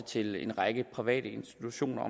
til en række private institutioner